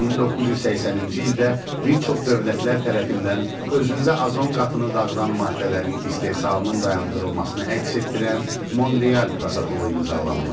1980-ci ildə bir çox dövlətlər tərəfindən özündə azon qatını dağıdan maddələrin istehsalının dayandırılmasını əks etdirən Monreal protokolu imzalanmışdı.